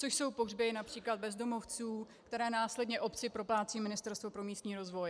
Což jsou pohřby například bezdomovců, které následně obci proplácí Ministerstvo pro místní rozvoj.